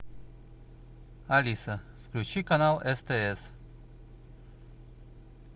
алиса включи канал стс